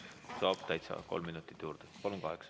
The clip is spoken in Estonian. Saate kolm minutit juurde, palun, kokku kaheksa.